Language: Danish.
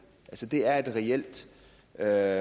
at